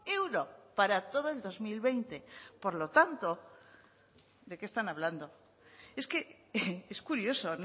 euro para todo el dos mil veinte por lo tanto de qué están hablando es que es curioso